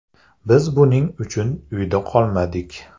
Biz buning uchun uyda qolmadik.